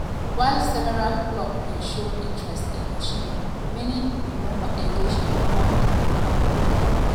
while several club bin show interest in osimhen many many bin no engage in formal tok-tok.